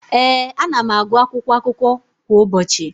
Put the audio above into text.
Ee, ana m agụ akwụkwọakụkọ kwa ụbọchị.